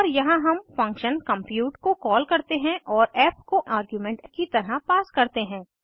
और यहाँ हम फंक्शन कम्प्यूट को कॉल करते हैं और फ़ को आर्ग्यूमेंट की तरह पास करते हैं